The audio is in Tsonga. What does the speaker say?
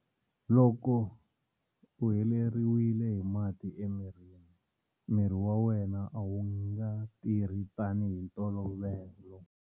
Loko u heleriwile hi mati emirini, miri wa wena a wu nga tirhi tanihi hi ntolovelo.